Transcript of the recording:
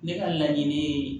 Ne ka laɲini ye